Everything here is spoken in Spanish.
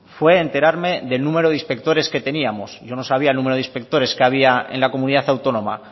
fue enterarme del número de inspectores que teníamos yo no sabía el número de inspectores que había en la comunidad autónoma